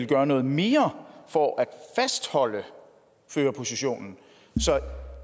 gøre noget mere for at fastholde førerpositionen så